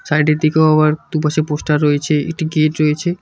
Side -এর দিকেও আবার দুপাশে পোস্টার রয়েছে একটি গেট রয়েছে।